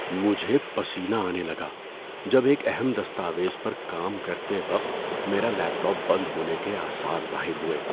مجھے پسینہ آنے لگا جب ایک اہم دستاویز پر کام کرتے وقت میرا لیپ ٹاپ بند ہونے کے آثار ظاہر ہوئے۔